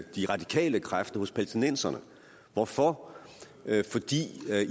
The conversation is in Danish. de radikale kræfter hos palæstinenserne hvorfor fordi